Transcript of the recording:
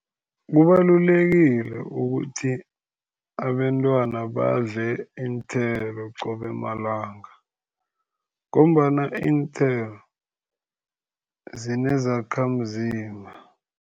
Kubalulekile ukuthi abentwana badle iinthelo, qobe malanga ngombana iinthelo zinezakhamzimba.